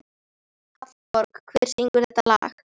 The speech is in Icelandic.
Hallborg, hver syngur þetta lag?